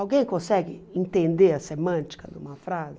Alguém consegue entender a semântica de uma frase?